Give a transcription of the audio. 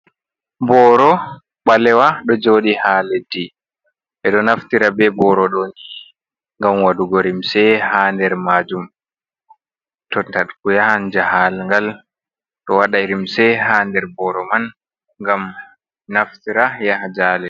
Booro ɓalewa ɗo jooɗi haa leddi, ɓeɗo naftira be booro ɗo ni ngam waɗugo limse haa nder maajum, to tagu yahan jahaangal ɗo waɗa limse haa nder booro man ngam naftira yaha jaale.